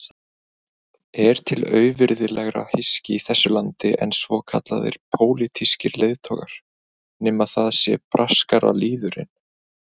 Er til auvirðilegra hyski í þessu landi en svokallaðir pólitískir leiðtogar, nema það sé braskaralýðurinn?